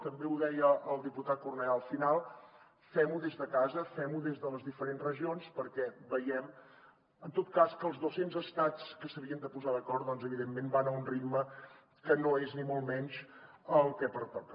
també ho deia el diputat cornellà al final fem ho des de casa femho des de les diferents regions perquè veiem en tot cas que els dos cents estats que s’havien de posar d’acord doncs evidentment van a un ritme que no és ni molt menys el que pertoca